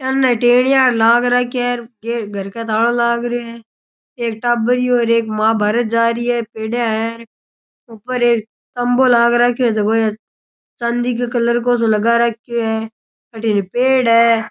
अन्ने टेनिया र लाग राख्या है घर कै तालो लाग रियो है एक टाबरियो और एक मां बाहरे जा री है पेडियां है ऊपर एक खंबो लाग राख्यो है जको ये चांदी कै कलर को सो लगा राख्यो है अठीने पेड़ है।